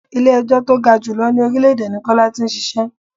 Ilẹ̀ ẹjọ́ tó ga jù lọ ní orílè èdè ní Kọ́lá tí ń ṣíṣe.